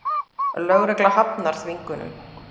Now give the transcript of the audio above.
Lögregla hafnar þvingunum